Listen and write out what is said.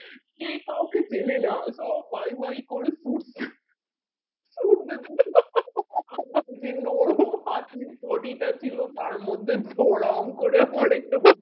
কেও কাওকে চেনে না সব বাই বাই করে ছুট পাঁচমিনিট potty টা ছিল তার মধ্যে ধর্ম করে পরে